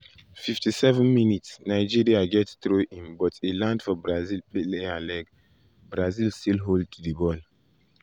57’ nigeria get throw-in but e land for brazil player leg brazil still hold di ball.